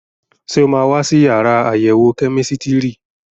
Ṣé o máa wá sí yàrá àyẹ̀wò kẹ́mísítírì?